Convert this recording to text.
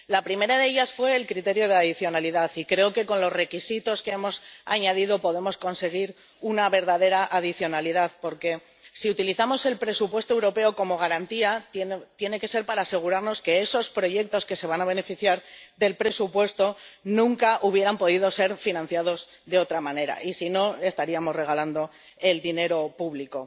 La primera de ellas fue el criterio de adicionalidad, y creo que con los requisitos que hemos añadido podemos conseguir una verdadera adicionalidad. Porque si utilizamos el presupuesto europeo como garantía tiene que ser para asegurarnos de que esos proyectos que se van a beneficiar del presupuesto nunca hubieran podido financiarse de otra manera y, si no, estaríamos regalando el dinero público.